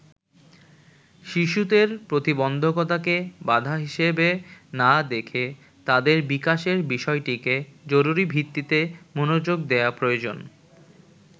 শিশুদের প্রতিবন্ধকতাকে বাধা হিসেবে না দেখে তাদের বিকাশের বিষয়টিতে জরুরিভিত্তিতে মনোযোগ দেয়া প্রয়োজন।